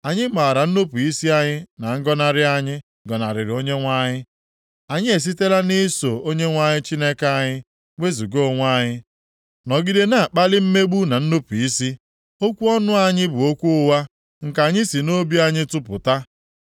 Anyị maara nnupu isi anyị na ngọnarị anyị gọnarịrị Onyenwe anyị; anyị esitela nʼiso Onyenwe anyị Chineke anyị wezuga onwe anyị, nọgide na-akpali mmegbu na nnupu isi. Okwu ọnụ anyị bụ okwu ụgha, nke anyị si nʼobi anyị tụpụta.